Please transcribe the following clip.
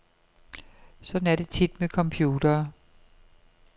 Sådan er det tit med computere.